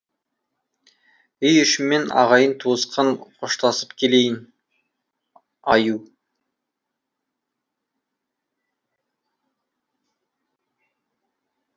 үй ішіммен ағайын туысқан қоштасып келейін аю